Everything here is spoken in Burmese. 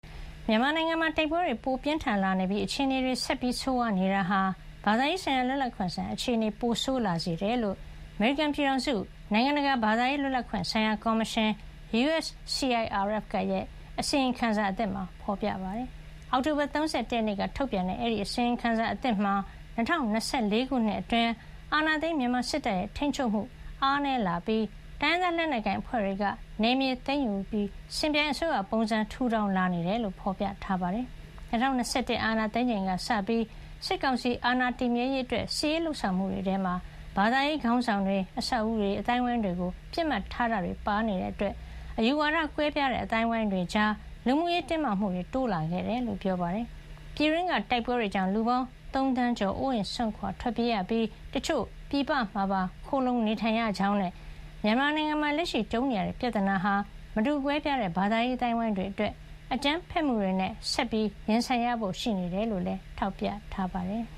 မြန်မာနိုင်ငံမှာ တိုက်ပွဲတွေပိုမိုပြင်းထန်လာနေပြီး အခြေနေတွေ ဆက်လက်ဆိုးဝါးနေတာဟာ ဘာသာရေးလွတ်လပ်ခွင့်ဆိုင်ရာ အခြေအနေကို ပိုဆိုးလာစေတယ်လို့ အမေရိကန်ပြည်ထောင်စု နိုင်ငံတကာ ဘာသာရေးလွတ်လပ်ခွင့်ဆိုင်ရာကော်မရှင် (USCIRF) ရဲ့ အစီရင်ခံသစ်မှာဖော်ပြပါတယ်။ အောက်တိုဘာလ ၃၁ ရက်နေ့ကထုတ်ပြန်တဲ့ အဲဒီအစီရင်ခံသစ်မှာ ၂၀၂၄ ခုနှစ်တွင်း အာဏာသိမ်း မြန်မာစစ်တပ်ရဲ့ထိန်းချုပ်မှုအားနည်းလာပြီး တိုင်းရင်းသားလက်နက်ကိုင်အဖွဲ့တွေက နယ်မြေသိမ်းယူ စင်ပြိုင်အစိုးရပုံစံ ထူထောင်လာနေတယ်လို့ ဖော်ပြထားပါတယ်။ ၂၀၂၁ အာဏာသိမ်းချိန်ကစပြီး စစ်ကောင်စီအာဏာတည်မြဲရေးအတွက် စစ်ရေးလုပ်ဆောင်မှုတွေထဲမှာ ဘာသာရေး ခေါင်းဆောင်တွေ၊ အဆောက်အဦးတွေ၊ အသိုင်းဝိုင်းတွေကို ပစ်မှတ်ထားတာတွေပါ ရှိနေတာကြောင့် အယူဝါဒကွဲပြားတဲ့ အသိုင်းဝိုင်းတွေကြား လူမှုရေးတင်းမာမှုတွေ တိုးလာခဲ့တယ်လို့ ပြောပါတယ်။ပြည်တွင်းက တိုက်ပွဲတွေကြောင့် လူပေါင်း ၃ သန်းကျော် အိုးအိမ်စွန့်ခွါ ထွက်ပြေးကြရပြီး တချို့ ပြည်ပမှာပါ ခိုလှုံနေထိုင် ကြရကြောင်းနဲ့ မြန်မာနိုင်ငံမှာ လက်ရှိကြုံနေရတဲ့ပြဿနာဟာ မတူကွဲပြားတဲ့ ဘာသာရေး အသိုင်းအဝိုင်းတွေအတွက် အကြမ်းဖက်မှုတွေနဲ့ ဆက်ရင်ဆိုင်ရဖို့ ရှိနေတယ်လို့လည်း ထောက်ပြထားပါတယ်။